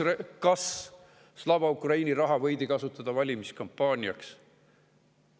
Kas Slava Ukraini raha võidi kasutada valimiskampaaniaks?